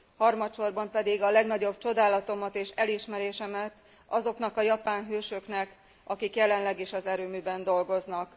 Harmadsorban pedig a legnagyobb csodálatomat és elismerésemet azoknak a japán hősöknek, akik jelenleg is az erőműben dolgoznak.